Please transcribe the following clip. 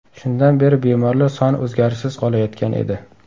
Shundan beri bemorlar soni o‘zgarishsiz qolayotgan edi.